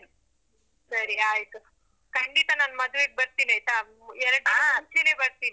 ಸರಿ ಆಯ್ತು, ಖಂಡಿತ ನಾನ್ ಮದುವೆಗ್ ಬರ್ತಿನ್ ಆಯ್ತಾ. ಎರಡ್ ಮುಂಚೆನೆ ಬರ್ತೀನಿ.